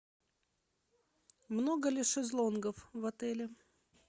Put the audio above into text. много ли шезлонгов в отеле